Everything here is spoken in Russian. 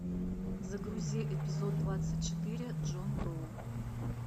загрузи эпизод двадцать четыре джон доу